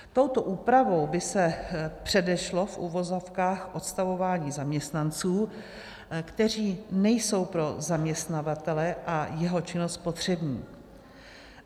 Touto úpravou by se předešlo v uvozovkách odstavování zaměstnanců, kteří nejsou pro zaměstnavatele a jeho činnost potřební.